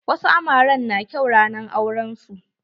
Wasu amaren na kyau ranar auren su.